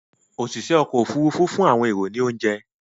oṣiṣẹ okọ́ òfurufú fún àwọn ẹrọ ní ounje